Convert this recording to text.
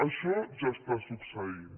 això ja està succeint